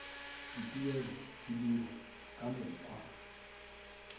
dituelo di dirwa ka mokgwa